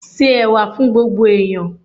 Se Ẹ̀wà fún gbogbo ẹ̀yán.